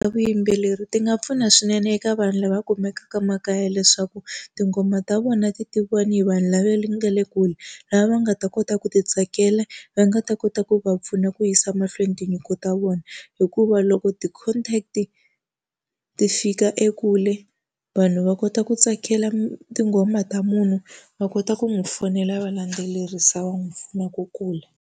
Vuyimbeleri ti nga pfuna swinene eka vanhu lava kumekaka makaya leswaku tinghoma ta vona ti tiviwa hi vanhu lava nga le kule, lava va nga ta kota ku ti tsakela, va nga ta kota ku va pfuna ku yisa mahlweni tinyiko u ta vona. Hikuva loko ti-contact-i ti fika ekule, vanhu va kota ku tsakela tinghoma ta munhu va kota ku n'wi fonela, va landzelerisa, va n'wi pfuna ku kula.